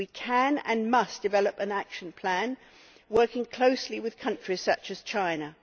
We can and must develop an action plan, working closely with countries such as China.